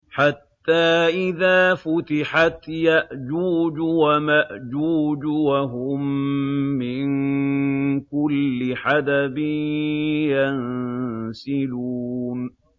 حَتَّىٰ إِذَا فُتِحَتْ يَأْجُوجُ وَمَأْجُوجُ وَهُم مِّن كُلِّ حَدَبٍ يَنسِلُونَ